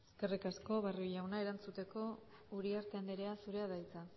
eskerrik asko barrio jauna erantzuteko uriarte andrea zurea da hitza